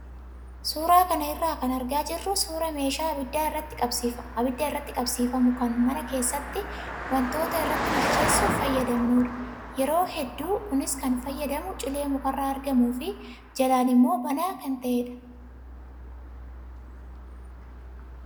Suuraa kana irraa kan argaa jirru suuraa meeshaa abidda irratti qabsiifamu kan mana keessatti wantoota irratti bilcheessuuf fayyadamnudha. Yeroo hedduu kunis kan fayyadamu cilee mukarraa argamuu fi jalaan immoo banaa kan ta'edha.